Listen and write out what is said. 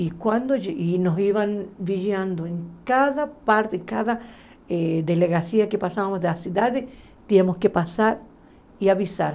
E quando, e nos iam vigiando em cada parte, em cada eh delegacia que passávamos das cidades, tínhamos que passar e avisar.